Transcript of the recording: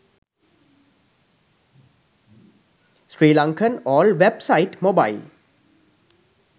sri lankan all wap site mobile